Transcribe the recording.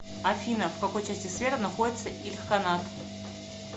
афина в какой части света находится ильханат